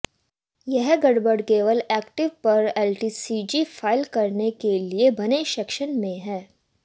यह गड़बड़ी केवल इक्विटी पर एलटीसीजी फाइल करने के लिए बने सेक्शन में है